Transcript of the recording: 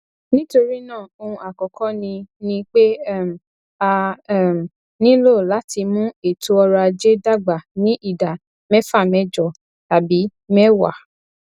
nítorí náà ohun àkọkọ ni ni pé um a um nílò láti mú ètò ọrọ ajé dàgbà ní ìdá mẹfàmẹjọ tàbí mẹwàá